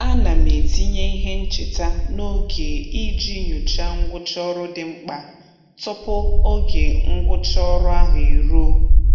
A na m etinye ihe ncheta n'oge iji nyocha ngwụcha ọrụ dị mkpa tụpụ oge ngwụcha ọrụ ahụ e ruo.